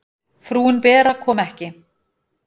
Frúin Bera kom ekki.